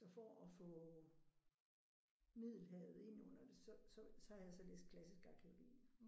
Så for at få Middelhavet ind under det så så så har jeg så læst klassisk arkæologi